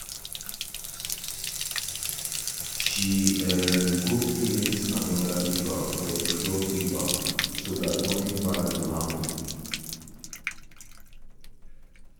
she um go print another paper for the fuel paper so that nothing bad go happen